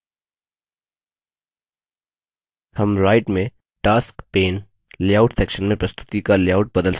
हम right में tasks pane layout section में प्रस्तुति का लेआउट बदल सकते हैं